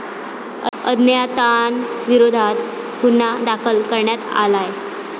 अज्ञातांविरोधात गुन्हा दाखल करण्यात आलाय.